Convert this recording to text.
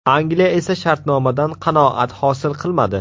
Angliya esa shartnomadan qanoat hosil qilmadi.